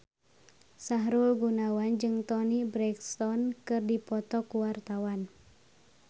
Sahrul Gunawan jeung Toni Brexton keur dipoto ku wartawan